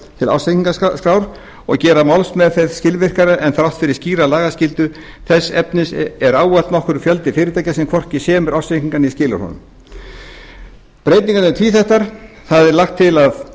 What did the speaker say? til ársreikningaskrár og gera málsmeðferð skilvirkari en þrátt fyrir skýra lagaskyldu þess efnis er ávallt nokkur fjöldi fyrirtækja sem hvorki semur ársreikning né skilar honum breytingarnar eru tvíþættar það er lagt til að